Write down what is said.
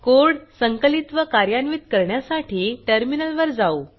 code संकलित व कार्यान्वित करण्यासाठी टर्मिनलवर जाऊ